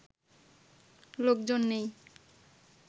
লোকজন নেই